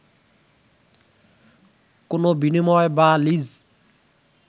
কোনো বিনিময় বা লীজ